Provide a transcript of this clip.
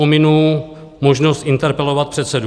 Pominu možnost interpelovat předsedu.